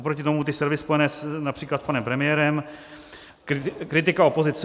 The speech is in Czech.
Oproti tomu ty servery spojené například s panem premiérem, kritika opozice.